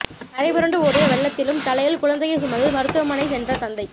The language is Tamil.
கரை புரண்டு ஓடிய வெள்ளத்திலும் தலையில் குழந்தையை சுமந்து மருத்துவமனை சென்ற தந்தை